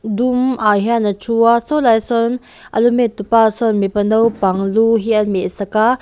dum ah hian a thu a saw lai sawn a lu met tu pa sawn mipa naupang lu hi a meh sak a.